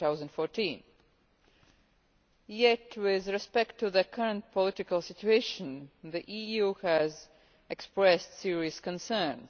2014. Yet with respect to the current political situation, the EU has expressed serious concerns.